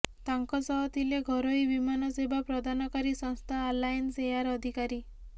ତାଙ୍କ ସହ ଥିଲେ ଘରୋଇ ବିମାନ ସେବା ପ୍ରଦାନକାରୀ ସଂସ୍ଥା ଆଲାଏନ୍ସ ଏୟାର ଅଧିକାରୀ